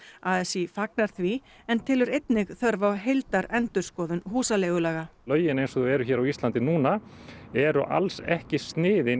a s í fagnar því en telur einnig þörf á heildarendurskoðun húsaleigulaga lögin eins og þau eru á Íslandi eru alls ekki sniðin